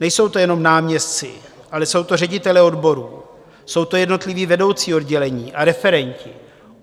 Nejsou to jenom náměstci, ale jsou to ředitelé odborů, jsou to jednotliví vedoucí oddělení a referenti.